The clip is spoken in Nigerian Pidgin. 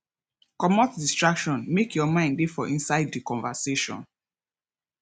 comot distraction make your mind dey for inside di conversation